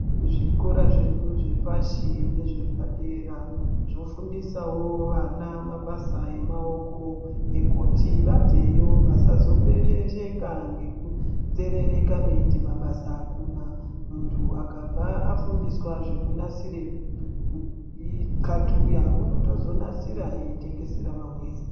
Zvikora zvedu zvepashi nezve padera, zvofundisawo vana mabasa emaoko ekuti vabveyo vasazo pepesheka nekunzerereka veiti mabasa akuna. Munthu akabva afundiswa zvekunasire qathuya unotozonasira eitengesera vamweni.